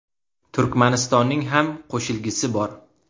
Turkmanistonning ham qo‘shilgisi bor.